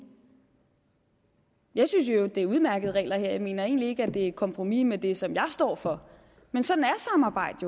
jeg synes i øvrigt at det er udmærkede regler jeg mener egentlig ikke at det er et kompromis med det som jeg står for sådan er samarbejde